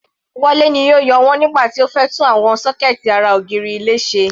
Wale ni ó yọ wọ́n nígbà tí ó fẹ́ tún àwọn sọ́kẹ̀ẹ̀tì ara ògiri ilé ṣe.